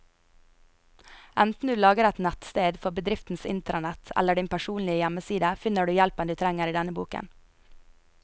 Enten du lager et nettsted for bedriftens intranett eller din personlige hjemmeside, finner du hjelpen du trenger i denne boken.